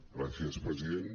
gràcies president